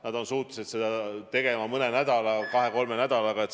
Nad on suutelised seda tegema kahe-kolme nädalaga.